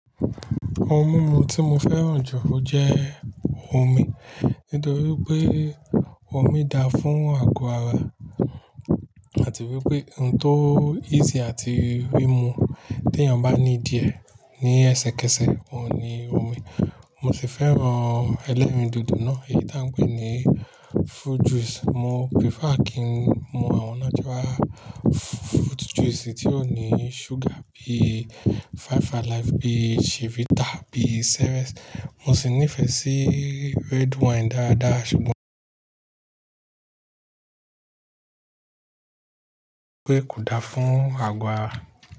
Ohun mímu tí mo fẹ́ràn jù o jẹ́ omi. Nítorí pé omi da fún àgọ́ ara àti wípé ohun tó easy àti rí mu tí èèyàn bá ní díẹ̀ ní ẹsẹ̀kẹsẹ̀ òun ni omi. Mo sì fẹ́ràn ẹlẹ́rìndòdò náà èyí tí à ń pè ní fruit juice. Mo prefer kí n mu àwọn natural fruit juice tí ò ní sugar bí Five Alive, bí Chivita, bí Ceres. Mo sì nífẹ̀ẹ́ sí red wine dáadáa ṣùgbọ́n mo mọ̀ pé kò da fún àgọ́ ara.